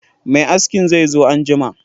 Mai askin zai zo anjima